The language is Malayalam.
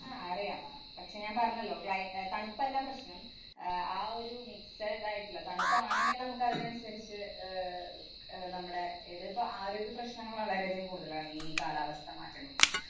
ആഹ് അറിയാം. പക്ഷേ ഞാന്‍ പറഞ്ഞല്ലോ. cli~ അഹ് തണുപ്പല്ല പ്രശ്നം. അഹ് ആ ഒരു mixed ആയിട്ടുള്ള തണുപ്പ് ആണെങ്കിൽ നമുക്ക് അതിനനുസരിച്ച് ആഹ് അഹ് നമ്മുടെ ഇതിപ്പ ആരോഗ്യപ്രശ്നങ്ങൾ വളരെയധികം കൂടുതലാണ് ഈ കാലാവസ്ഥ മാറ്റങ്ങൾ കൊണ്ട്.